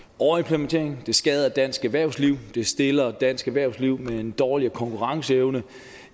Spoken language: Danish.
overimplementering der skader dansk erhvervsliv det stiller dansk erhvervsliv med en dårligere konkurrenceevne